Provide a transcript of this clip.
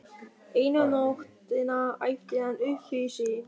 Eina nóttina æpti hann upp yfir sig.